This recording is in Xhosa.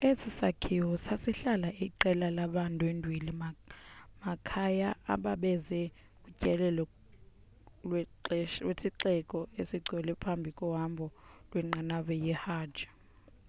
esi sakhiwo sasihlala iqela labandwendweli makhaya ababeze kutyelelo lwesixeko esingcwele phambi kohambo lwenqanawa yehajj